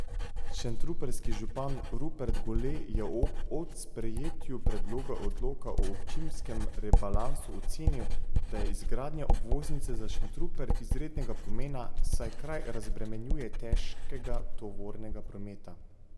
Šentrupertski župan Rupert Gole je ob od sprejetju predloga odloka o občinskem rebalansu ocenil, da je izgradnja obvoznice za Šentrupert izrednega pomena, saj kraj razbremenjuje težkega tovornega prometa.